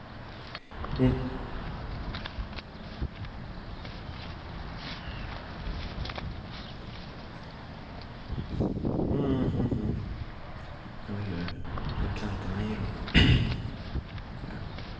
Industrin skall betala importen och hjälpa till att betala den gemensamma sektorn.